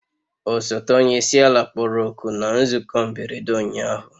Osote onye isi ala kpọrọ oku na nzukọ mberede ụnyahụ